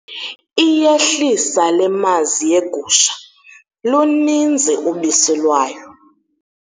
Iyehlisa le mazi yegusha, luninzi ubisi lwayo.